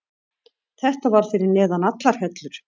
Þetta var fyrir neðan allar hellur.